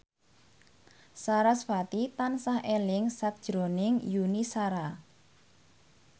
sarasvati tansah eling sakjroning Yuni Shara